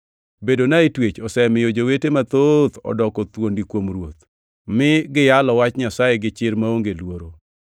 Bedona e twech osemiyo jowete mathoth odoko thuondi kuom Ruoth, mi giyalo Wach Nyasaye gi chir maonge luoro.